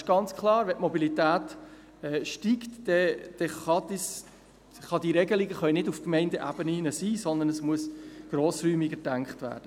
Es ist ganz klar, wenn die Mobilität steigt, dann können diese Regelungen nicht auf den Gemeindeebenen sein, sondern es muss grossräumiger gedacht werden.